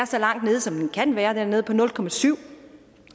så langt nede som den kan være den er nede på nul procent